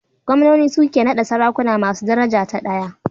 Gwamnoni su ke naɗa sarakuna masu daraja ta ɗaya.